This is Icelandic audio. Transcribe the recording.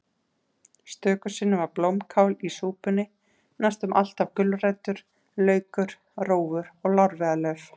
Stöku sinnum var blómkál í súpunni, næstum alltaf gulrætur, laukur, rófur og lárviðarlauf.